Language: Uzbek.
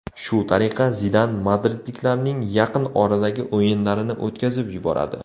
Shu tariqa Zidan madridliklarning yaqin oradagi o‘yinlarini o‘tkazib yuboradi.